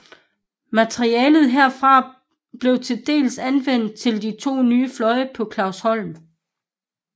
Materialet herfra blev til dels anvendt til de to nye fløje på Clausholm